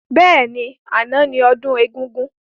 Bẹ́ẹ̀ni, àná ni ọdún egúngún.